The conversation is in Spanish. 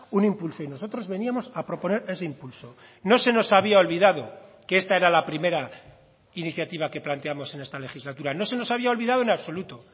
un impulso y nosotros veníamos a proponer ese impulso no se nos había olvidado que esta era la primera iniciativa que planteamos en esta legislatura no se nos había olvidado en absoluto